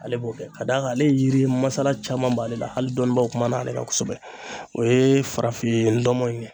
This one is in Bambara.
Ale b'o kɛ ka d'a kan ale ye yiri masala caman b'ale la, hali dɔnnibaw kumana ale kan kosɛbɛ o ye farafin dɔnbɔ in ye.